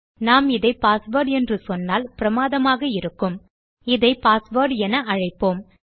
நாம் இதை பாஸ்வேர்ட் என்று சொன்னால் பிரமாதமாக இருக்கும் இதை பாஸ்வேர்ட் என அழைப்போம்